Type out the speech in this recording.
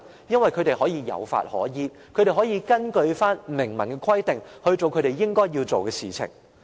因為他們有法可依，可以根據明文規定，做他們應該要做的事情。